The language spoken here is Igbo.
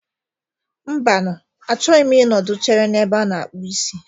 Mbanu, a chọghị m ị nọdụ chere n'ebe a na-akpụ isi